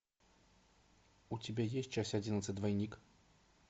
у тебя есть часть одиннадцать двойник